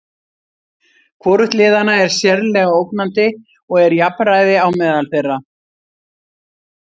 Hvorugt liðanna er sérlega ógnandi og er jafnræði á meðal þeirra.